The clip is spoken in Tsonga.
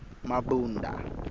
mabunda